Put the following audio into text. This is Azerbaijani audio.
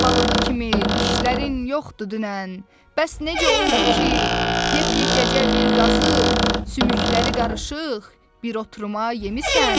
Daban balığı kimi dişlərin yoxdu dünən, bəs necə oldu ki, yepyekəcə bir qazı, sümükləri qarışıq, bir oturuma yemisən?